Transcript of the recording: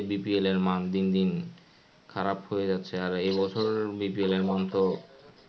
জানেনই BPL এর মান দিন দিন খারাপ হয়ে যাচ্ছে আর এবছর BPL এর মান তো.